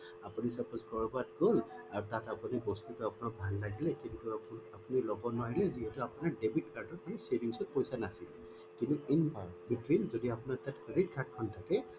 আপুনি suppose কৰবাত গল তাত আপুনি বস্তু বা offer কিবা ভাল লাগিলে আপুনি লব নোৱাৰে যে আপুনি যিহেতু আপোনাৰ debit card দি savings ত পইছা নাছিলে কিন্তু in between যদি আপোনাৰ তাত credit card খন থাকে